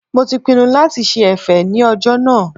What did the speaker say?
Mo ti pinnu lati ṣe ẹ̀fẹ̀ ní ọjọ́ náà